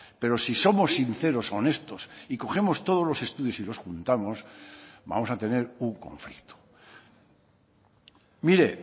pero si somos sinceros honestos y cogemos todos los estudios y los juntamos vamos a tener un conflicto mire